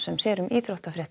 sér um íþróttafréttir